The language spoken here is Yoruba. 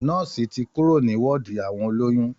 Nọ́ọ̀sì ti kúrò ní wọ́ọ̀dì àwọn olóyún